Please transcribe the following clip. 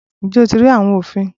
Ǹjẹ́ o ti rí àwọn òfin?